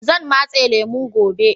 Zan matse lemu gobe.